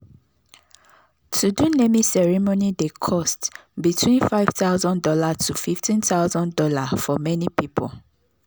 to do naming ceremony dey cost between five thousand dollars tofifteen thousand dollarsfor many people.